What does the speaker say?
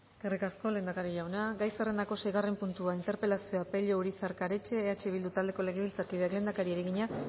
eskerrik asko lehendakari jauna gai zerrendako seigarren puntua interpelazioa pello urizar karetxe eh bildu taldeko legebiltzarkideak lehendakariari egina